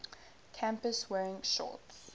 campus wearing shorts